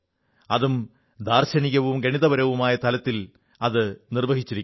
അതും ദാർശനികവും ഗണിതപരവുമായ തലത്തിൽ അത് നിർവ്വഹിച്ചിരിക്കുന്നു